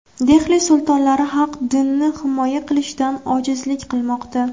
Dehli sultonlari haq dinni himoya qilishdan ojizlik qilmoqda.